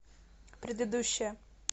предыдущая